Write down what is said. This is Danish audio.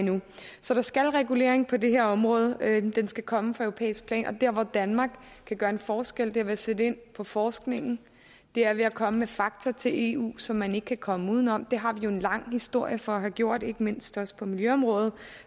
så der skal regulering på det her område den skal komme fra europæisk plan og der hvor danmark kan gøre en forskel er ved at sætte ind på forskningen det er ved at komme med fakta til eu som man ikke kan komme uden om det har vi jo en lang historie for at have gjort ikke mindst også på miljøområdet